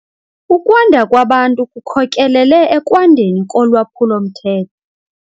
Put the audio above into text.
Ukwanda kwabantu kukhokelele ekwandeni kolwaphulo-mthetho.